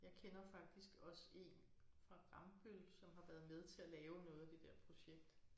Jeg kender faktisk også én fra Rambøll som har været med til at lave noget af det der projekt